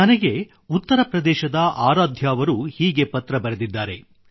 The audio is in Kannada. ನನಗೆ ಉತ್ತರ ಪ್ರದೇಶದ ಆರಾಧ್ಯ ಅವರು ಹೀಗೆ ಪತ್ರ ಬರೆದಿದ್ದಾರೆ